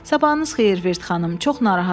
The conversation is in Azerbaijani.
Sabahınız xeyir Virt xanım, çox narahatam.